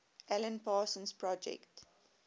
alan parsons project